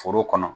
Foro kɔnɔ